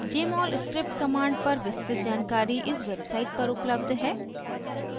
jmol script commands पर विस्तृत जानकारी इस website पर उपलब्ध है